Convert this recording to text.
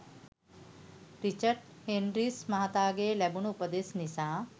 Richard Hendricks මහතාගෙන් ලැබුණු උපදෙස් නිසා